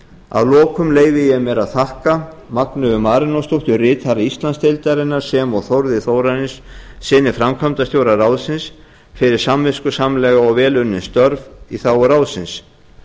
að lokum leyfi ég mér að þakka magneu marinósdóttir ritara íslandsdeildarinnar sem og þórði þórarinssyni framkvæmdastjóra ráðsins fyrir samviskusamlega og vel unnin störf í þágu ráðsins